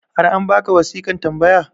har an baka wasiƙan tambaya?